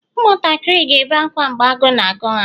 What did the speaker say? ụmụntakịrị ga-ebe akwa mgbe agụụ na-agụ ha